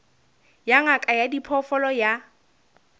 ya ngaka ya diphoofolo ya